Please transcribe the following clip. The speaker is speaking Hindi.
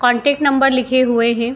कॉन्टैक्ट नंबर लिखे हुए हैं।